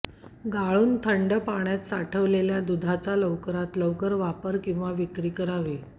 गाळून थंड पाण्यात साठवलेल्या दूधाचा लवकरात लवकर वापर किंवा विक्री करावी